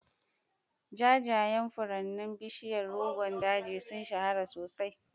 Jajayen furannin bishiyar Rogon Daji sun shahara sosai.